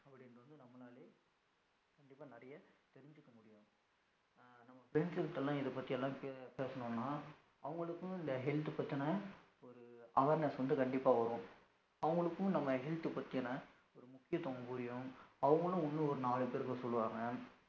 Friends கிட்டலாம் இத பத்தி எல்லாம் பேசுனோம்னா அவங்களுக்கும் இந்த health பத்தின ஒரு awareness வந்து கண்டிப்பா வரும், அவங்களுகும் நம்ம health பத்தியான ஒரு முக்கியதுவம் புரியும், அவங்களும் இன்னும் ஒரு நாலு பேருக்கு சொல்லுவாங்க